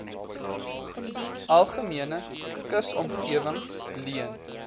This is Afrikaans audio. algemene kusomgewing leen